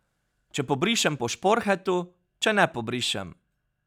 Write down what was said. Če pobrišem po šporhetu, če ne pobrišem.